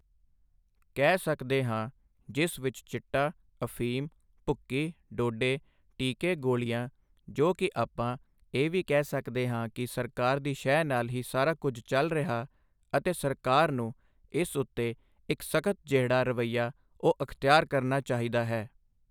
ਕਹਿ ਸਕਦੇ ਹਾਂ ਜਿਸ ਵਿੱਚ ਚਿੱਟਾ ਅਫ਼ੀਮ ਭੁੱਕੀ ਡੋਡੇ ਟੀਕੇ ਗੋਲ਼ੀਆਂ ਜੋ ਕਿ ਆਪਾਂ ਇਹ ਵੀ ਕਹਿ ਸਕਦੇ ਹਾਂ ਕਿ ਸਰਕਾਰ ਦੀ ਸ਼ੈਅ ਨਾਲ਼ ਹੀ ਸਾਰਾ ਕੁਛ ਚੱਲ ਰਿਹਾ ਅਤੇ ਸਰਕਾਰ ਨੂੰ ਇਸ ਉੱਤੇ ਇੱਕ ਸਖ਼ਤ ਜਿਹੜਾ ਰਵੱਈਆ ਉਹ ਅਖਤਿਆਰ ਕਰਨਾ ਚਾਹੀਦਾ।